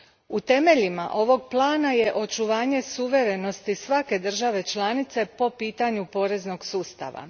U temeljima ovog plana je očuvanje suverenosti svake države članice po pitanju poreznog sustava.